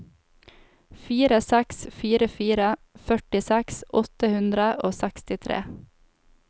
fire seks fire fire førtiseks åtte hundre og sekstitre